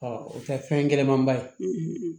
o tɛ fɛn gɛlɛman ba ye